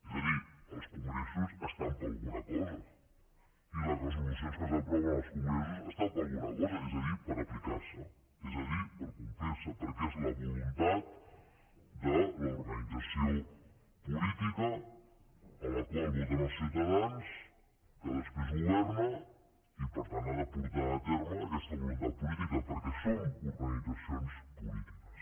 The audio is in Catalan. és a dir els congressos estan per alguna cosa i les resolucions que s’aproven als congressos estan per alguna cosa és a dir per aplicar se és a dir per complir se perquè és la voluntat de l’organització política a la qual voten els ciutadans que després governa i per tant ha de portar a terme aquesta voluntat política perquè som organitzacions polítiques